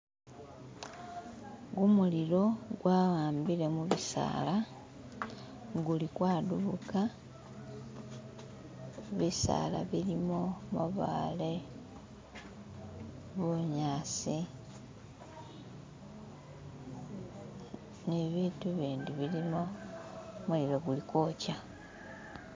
gumulilo gwawambile mubisaala guli kwadubuka bisaala bilimu mabaale bunyasi ni bitu bindi bilimo mulilo guli kwokya